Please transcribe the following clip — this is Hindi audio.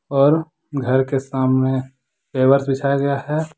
और घर के सामने बिछाया गया है।